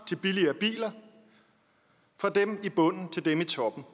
til billigere biler fra dem i bunden til dem i toppen